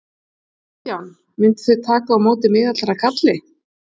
Kristján: Mynduð þið taka á móti miðaldra kalli?